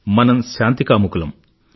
మనం శాంతికాముకులం